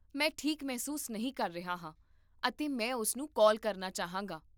ਮੈਂ ਠੀਕ ਮਹਿਸੂਸ ਨਹੀਂ ਕਰ ਰਿਹਾ ਹਾਂ ਅਤੇ ਮੈਂ ਉਸਨੂੰ ਕਾਲ ਕਰਨਾ ਚਾਹਾਂਗਾ